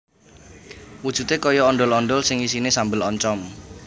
Wujudé kaya ondhol ondhol ning isiné sambel oncom